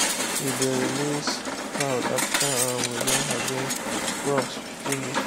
we dey release fowl after um we don harvest crops finish.